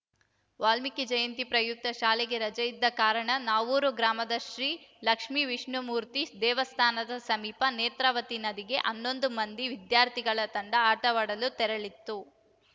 ವಾಲ್ಮೀಕಿ ಜಯಂತಿ ಪ್ರಯುಕ್ತ ಶಾಲೆಗೆ ರಜೆಯಿದ್ದ ಕಾರಣ ನಾವೂರು ಗ್ರಾಮದ ಶ್ರೀ ಲಕ್ಷ್ಮೇ ವಿಷ್ಣುಮೂರ್ತಿ ದೇವಸ್ಥಾನದ ಸಮೀಪ ನೇತ್ರಾವತಿ ನದಿಗೆ ಹನ್ನೊಂದು ಮಂದಿ ವಿದ್ಯಾರ್ಥಿಗಳ ತಂಡ ಆಟವಾಡಲು ತೆರಳಿತ್ತು